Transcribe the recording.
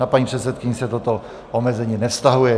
Na paní předsedkyni se toto omezení nevztahuje.